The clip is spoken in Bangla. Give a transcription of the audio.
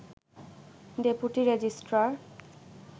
deputy registrar